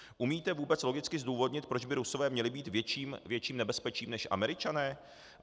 Umíte vůbec logicky zdůvodnit, proč by Rusové měli být větším nebezpečím než Američané?